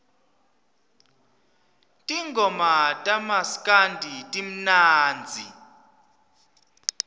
tingoma tamaskandi timnandzi